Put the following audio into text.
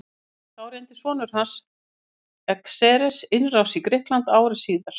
Þá reyndi sonur hans Xerxes innrás í Grikkland ári síðar.